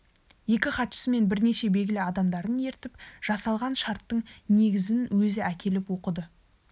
екі хатшысы мен бірнеше белгілі адамдарын ертіп жасалған шарттың негізін өзі әкеліп оқыды